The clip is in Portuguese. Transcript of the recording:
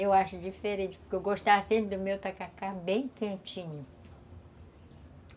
Eu acho diferente, porque eu gostava sempre do meu tacacá bem quentinho.